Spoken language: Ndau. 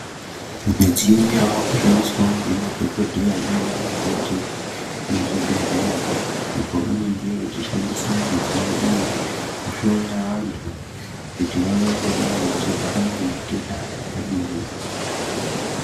Midziyo yavakushandiswawo nemadhokodheya nana mukoti muzvibhedhlera apo pavanenge vachishandisa midziyo iyi kuhloya vantu kuti vavvangodai vachirwara nematenda adini.